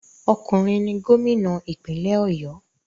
Okunrin ni gomina ipinle Oyo